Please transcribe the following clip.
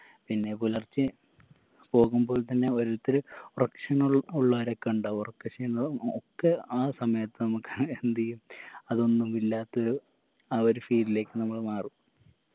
പിന്നെ പുലർച്ചെ പോകുമ്പോൾ തന്നെ ഓരോരുത്തര് പ്രശ്നങ്ങൾ ഉള്ളാരൊക്കെ ഇണ്ടാവും ഉറക്ക ക്ഷീണവും ഒക്കെ ആ സമയത്ത് നമുക്ക് എന്തെയ്യും അതൊന്നും ഇല്ലാത്തൊരു ആ ഒരു feel ലേക്ക് നമ്മള് മാറും